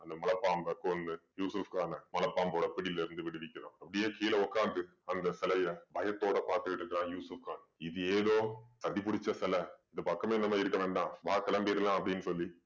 அந்த மலைப் பாம்பை கொன்னு யூசுஃப் கான மலைப் பாம்போட பிடியிலிருந்து விடுவிக்கிறான். அப்படியே கீழ உட்கார்ந்து அந்த சிலைய பயத்தோட பாத்துக்கிட்டு இருக்கான் யூசுஃப் கான். இது ஏதோ சதி புடிச்ச சிலை இந்த பக்கமே இருக்க வேண்டாம் வா கிளம்பிடலாம் அப்படீன்னு சொல்லி